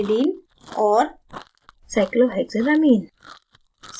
aniline और cyclohexylamine